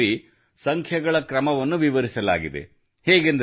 ಈ ಶ್ಲೋಕದಲ್ಲಿ ಸಂಖ್ಯೆಗಳ ಕ್ರಮವನ್ನು ವಿವರಿಸಲಾಗಿದೆ